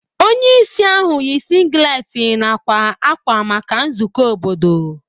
Onye isi ahụ yi singlet na akwa akwa maka nzukọ obodo.